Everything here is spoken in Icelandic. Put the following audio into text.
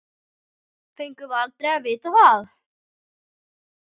Fengum aldrei að vita það.